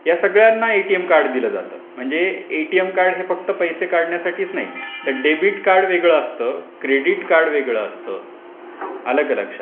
या सगळ्यांना ATM card दिल जात. म्हणजे एटीएम कार्ड हे फक्त पैसे काढण्यासाठीच नाही तर डेबिट कार्ड वेगळं असतं. क्रेडिट कार्ड वेगळ असतं. आलं का लक्षात ?